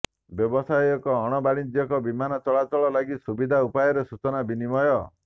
ବ୍ୟବସାୟ ଏବଂ ଅଣ ବାଣିଜ୍ୟିକ ବିମାନ ଚଳାଚଳ ଲାଗି ସୁବିଧା ଉପରେ ସୂଚନା ବିନିମୟ